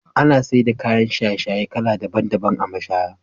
Ana saida kayan shaye-shaye kala daban daban a mashaya.